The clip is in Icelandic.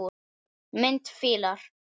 Mynd: Fílar